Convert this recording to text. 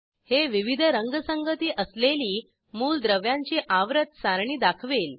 हे विविध रंगसंगती असलेली मूलद्रव्यांची आवर्त सारणी दाखवेल